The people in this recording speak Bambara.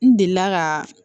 N delila ka